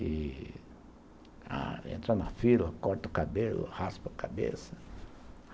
E... Entra na fila, corta o cabelo, raspa a cabeça.